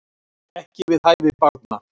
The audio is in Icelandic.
Ekki við hæfi barna